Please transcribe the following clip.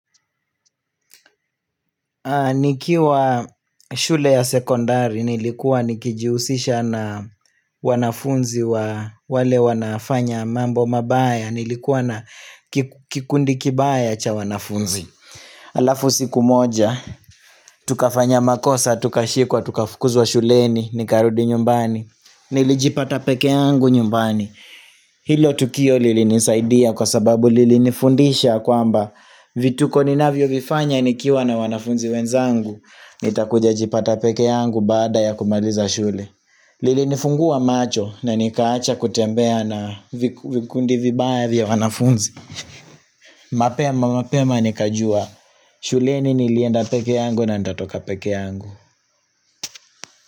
Nikiwa shule ya sekondari nilikuwa nikijihusisha na wanafunzi wa wale wanafanya mambo mabaya nilikuwa na kikundi kibaya cha wanafunzi Alafu siku moja tukafanya makosa, tukashikwa, tukafukuzwa shuleni, nikarudi nyumbani, nilijipata pekee yangu nyumbani Hilo tukio lilinisaidia kwa sababu lilinifundisha ya kwamba vituko ninavyo vifanya nikiwa na wanafunzi wenzangu nitakuja jipata pekee yangu baada ya kumaliza shule Lilinifungua macho na nikaacha kutembea na vikundi vibaya vya wanafunzi mapema mapema nikajua shuleni nilienda pekee yangu na nitatoka pekee yangu.